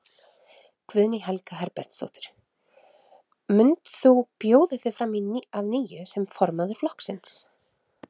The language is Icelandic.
Guðný Helga Herbertsdóttir: Mund þú bjóða þig fram að nýju sem formaður flokksins?